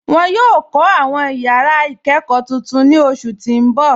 Wọn yọ kọ awọn yara ikẹkọ tuntun ni oṣu ti n bọ.